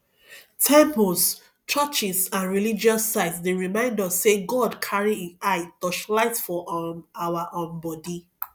temples churches and religious sites dey remind us sey god carry im eyes touchlight for um our um body